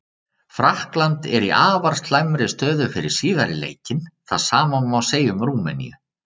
Frakkland er í afar slæmri stöðu fyrir síðari leikinn, það sama má segja um Rúmeníu.